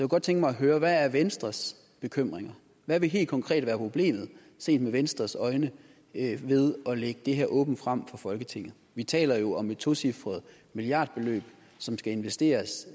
godt tænke mig at høre hvad er venstres bekymringer hvad vil helt konkret være problemet set med venstres øjne ved at lægge det her åbent frem for folketinget vi taler jo om et tocifret milliardbeløb som skal investeres